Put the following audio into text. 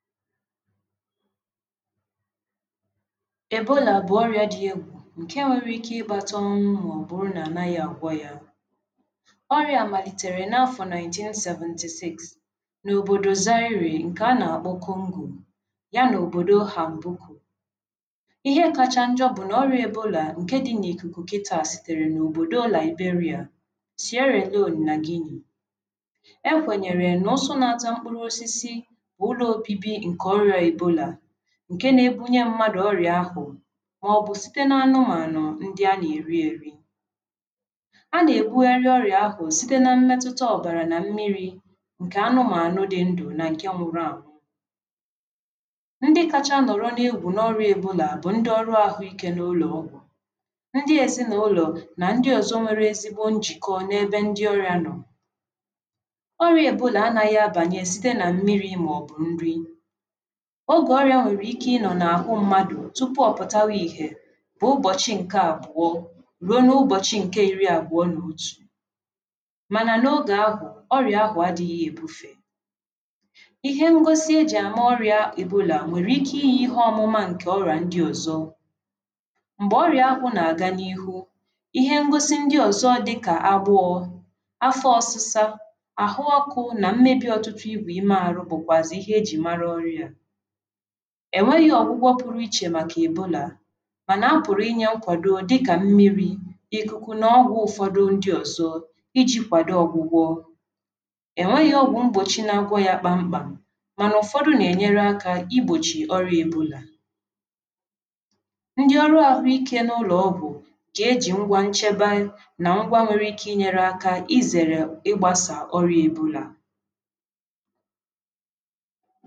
Ebola bụ ọrịa dị égwú nke nwere ike ịkpata ọnwụ ma ọ bụrụ na ànaghị àgwọ ya àgwọ. Ọrịa malịtere na àfọ nineteen seventy sịx na óbòdò Zaire nke àna àkpọ Kongó ya na óbòdò Hanbụku. Ihe kacha njọ bụ na ọrịa Ebola nke dị na íkúkú kịta sị na óbòdò Liberia, Sierra Loene na Guinee. Ekwenyere na úsú na-àta ósịsị bụ ụló óbịbi nke ọrịa Ebola nke na-èbunye mmadụ ọrịa áhú ma ọbụ sịte na ánụmanụ nke àna èri èrí. Àna-èbúgharị ọrịa áhú sịte na mmetụta ọbnara na mmịrị nke ánụmanụ dị ndụ ánụ nke nwụrụ ánwụ. Ndị kacha nọrọ n**’égwú** n**’ọrịa Ebola** bụ ndị ọrụ áhú íké na ụló ógwú, ndị ezi na ụló na ndị ózọ nwere ezigbo njịkọ n'ebe ndị ọrịa nọ̀. Ọrịa Ebola ànaghị àbànye sịte na mmịrị ma ọbụ nrí. Ógé ọrịa nwere ike ịnọ na áhú mmadụ tụpú ọbụtaba ịhe bụ ụbọchị nke ábụọ rụo n'ụbọchị nke ịrí àbụọ na òtù mana n'ógé áhú ọrịa áhú àdịghị èbúfe. Ihe ngósị èji àma ọrịa Ebola nwere ike ịyị ịhe ómúma ọrịa ndị ózọ. Mgbe ọrịa áhú na-aga n**'ịhú**, ịhe ngósị ndị ózọ dịka àgbọ, àfụ òsịsa, áhú ókú, na mmebi ótútú ịgwe íme áhú bụkwazị ịhe àjị mara ọrịa á. Ènweghị ọgwụgwọ pụrụ íchè maka Ebola mana àpụrụ ịnye nkwadọ dịka mmịrị, ịkúkú na ọgwụ ụfọdụ ndị ózọ, ịji kwadọ ọgwụgwọ. Ènweghị ọgwụ ngbọchị na-àgwọ ya kpam kpam mana ụfọdụ na-ènyere áka ịgbọchị ọrịa Ebola. Ndị ọrụ áhú íké n'ụló ógwú na-èji ngwa ncheba na ngwa nwere ike ịzère maka ịgbasa ọrịa Ebola.